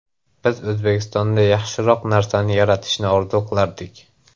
Biz O‘zbekistonda yaxshiroq narsani yaratishni orzu qilardik.